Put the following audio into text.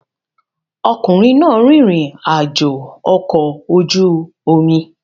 Ọkùnrin náà rìnrìn àjò ọkọ̀ ojú omi